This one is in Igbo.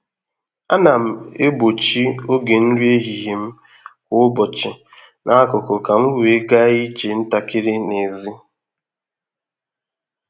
A na m egbochi oge nri ehihie m kwa ụbọchi n’akụkụ ka m wee gaa ije ntakịrị n’èzí.